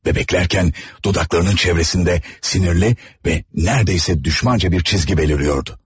Və bəklərkən dudaklarının çevrəsində sinirli və neredeyse düşmanca bir çizgi beliriyordu.